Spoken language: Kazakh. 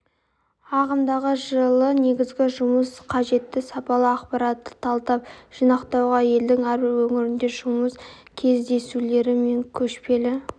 ағымдағы жылы негізгі жұмыс қажетті сапалы ақпаратты талдап жинақтауға елдің әрбір өңірінде жұмыс кездесулері мен көшпелі